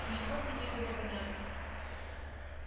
ничего мне не было понятно